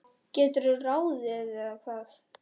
geturðu ráðið, eða hvað?